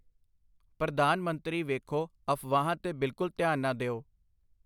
ਪ੍ਰਧਾਨ ਮੰਤਰੀ ਵੇਖੋ ਅਫ਼ਵਾਹਾਂ ਤੇ ਬਿਲਕੁਲ ਧਿਆਨ ਨਾ ਦਿਓ ,